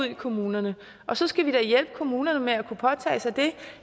i kommunerne og så skal hjælpe kommunerne med at kunne påtage sig det